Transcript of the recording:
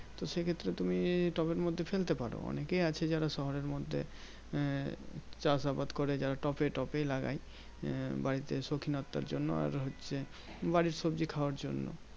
তো সেই ক্ষেত্রে তুমি টবের মধ্যে ফেলতে পারো। অনেকেই আছে যারা শহরের মধ্যে আহ চাষ আবাদ করে। যারা টবে~ টবেই লাগায়। আহ বাড়িতে সৌখিনতার জন্য। আর হচ্ছে বাড়ির সবজি খাওয়ার জন্য।